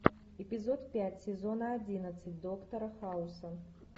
эпизод пять сезона одиннадцать доктора хауса